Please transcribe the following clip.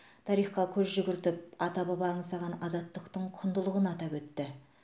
тарихқа көз жүгіртіп ата баба аңсаған азаттықтың құндылығын атап өтті